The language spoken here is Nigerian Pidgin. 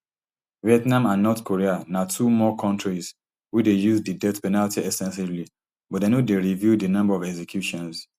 vietnam and north korea na two more kontris wey dey use di death penalty ex ten sively but dem no dey reveal di number of executions